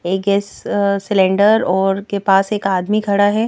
एक gas cylinder और के पास एक आदमी खड़ा है।